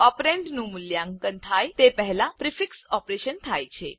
ઓપરેન્ડનું મૂલ્યાંકન થાય તે પહેલાં પ્રિફિક્સ ઓપરેશન થાય છે